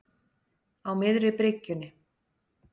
Á miðri bryggjunni.